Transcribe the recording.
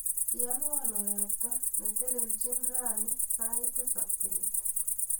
Inanwa ayakta neteleldochini rani sait tisap bet.